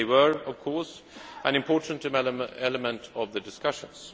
They were, of course, an important element of the discussions.